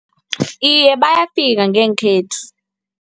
Iye, bayafika ngekhethu.